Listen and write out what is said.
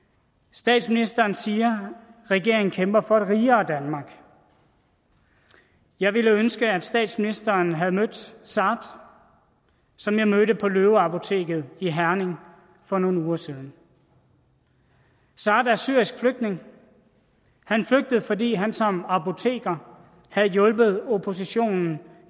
statsministeren siger at regeringen kæmper for et rigere danmark jeg ville ønske at statsministeren havde mødt saad som jeg mødte på løve apoteket i herning for nogle uger siden saad er syrisk flygtning han flygtede fordi han som apoteker havde hjulpet oppositionen